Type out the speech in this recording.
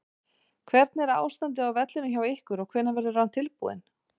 Hvernig er ástandið á vellinum hjá ykkur og hvenær verður hann tilbúinn?